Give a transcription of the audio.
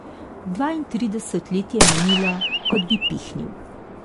Dvaintrideset let je minilo, kot bi pihnil.